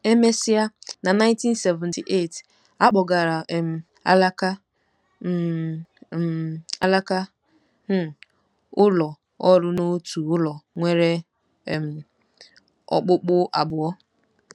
E mesịa, na 1978, a kpọgara um alaka um um alaka um ụlọ ọrụ n’otu ụlọ nwere um okpukpu abụọ.